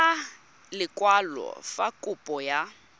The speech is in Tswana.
ka lekwalo fa kopo ya